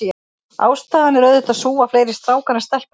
Ástæðan er auðvitað sú, að fleiri strákar en stelpur fæðast.